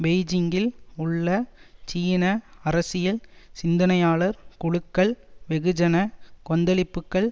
பெய்ஜிங்கில் உள்ள சீன அரசியல் சிந்தனையாளர் குழுக்கள் வெகுஜன கொந்தளிப்புக்கள்